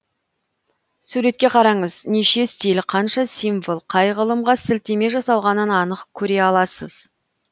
суретке қараңыз неше стиль қанша символ қай ғылымға сілтеме жасалғанын анық көре аласыз